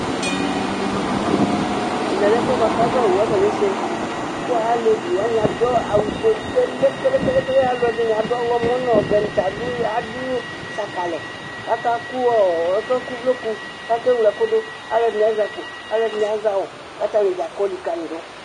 Ɛmɛ lɛ ɛfʋɛ bʋa kʋ avawu akɔnese ;kʋ alevi wanɩ adʋ awʋ fue kelekelekele, alʋ ɛdɩnɩ ɔɣlɔmɔ nʋɔvɛ nɩ ta adʋ sakalɛ kʋ akakʋ uvloku, kʋ akewle ɛfʋ dʋ,ɛdɩnɩ azɛ akpo, ɛdɩnɩ azɛ awʋ k' atanɩ dza kɔ likǝli dʋ